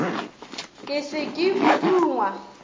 ke se ke o dungwa